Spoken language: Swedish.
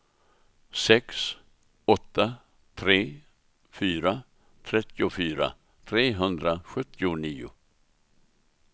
sex åtta tre fyra trettiofyra trehundrasjuttionio